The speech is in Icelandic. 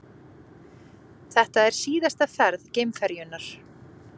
Þetta er síðasta ferð geimferjunnar